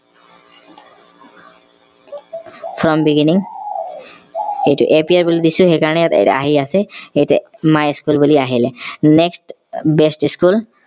from beginning এইটো april বুলি দিছো সেইকাৰণে ইয়াত আহি আছে এইটো my school বুলি আহিলে next best school